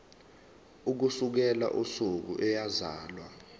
ukusukela usuku eyazalwa